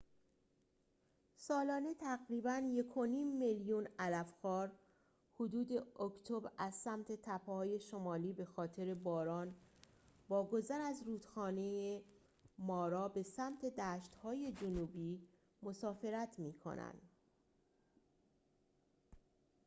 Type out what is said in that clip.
سالانه تقریباً ۱.۵ میلیون علف‌خوار حدود اکتبر از سمت تپه‌های شمالی بخاطر باران با گذر از رودخانه مارا به سمت دشت‌های جنوبی مسافرت می‌کنند